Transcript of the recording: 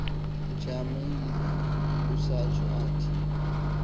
ujamangile usatsho athi